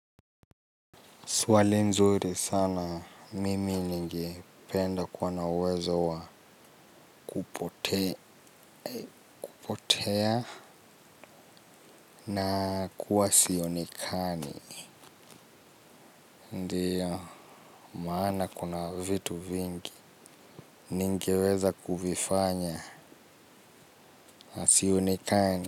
Swali zuri sana. Mimi ningependa kuwa na uwezo wa kupotea. Na kuwa sionekani. Ndiyo. Maana kuna vitu vingi ningeweza kuvifanya na nisionekana.